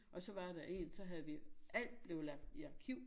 Og så var der én så havde vi alt blev lagt i arkiv